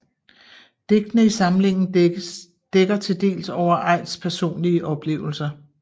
Digtene i samlingen dækker til dels over Aidts personlige oplevelser